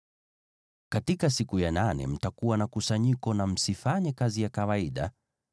“ ‘Katika siku ya nane mtakuwa na kusanyiko, na msifanye kazi ya kawaida.